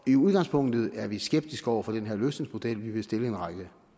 i udgangspunktet er vi skeptiske over for den her løsningsmodel vi vil stille en række